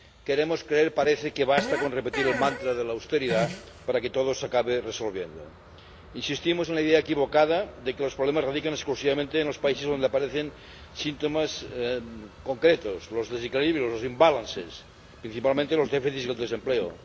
Queremos creer ―parece― que basta con repetir el mantra de la austeridad para que todo se acabe resolviendo. Insistimos en la idea equivocada de que los problemas radican exclusivamente en los países donde aparecen síntomas concretos los desequilibrios, los imbalances ―principalmente los déficits y el desempleo―